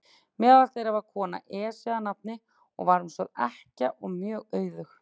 Meðal þeirra var kona, Esja að nafni, og var hún sögð ekkja og mjög auðug.